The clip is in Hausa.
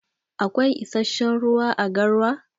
Akwai issashen ruwa à garwa?